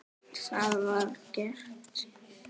Það var gert.